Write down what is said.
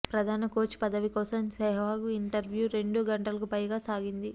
ప్రధాన కోచ్ పదవి కోసం సెహ్వాగ్ ఇంటర్వ్యూ రెండు గంటలకు పైగా సాగింది